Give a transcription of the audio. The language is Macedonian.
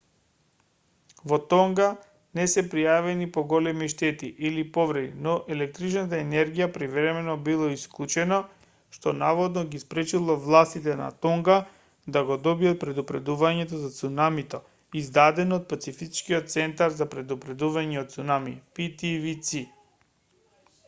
во тонга не се пријавени поголеми штети или повреди но електричната енергија привремено била исклучена што наводно ги спречило властите на тонга да го добијат предупредувањето за цунамито издадено од пацифичкиот центар за предупредувања од цунами птвц